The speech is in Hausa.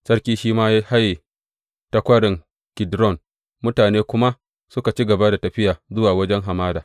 Sarki shi ma ya haye ta Kwarin Kidron, mutane kuma suka ci gaba da tafiya zuwa wajen hamada.